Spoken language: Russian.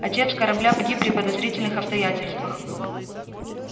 отец коробля погиб при подозрительных обстоятельствах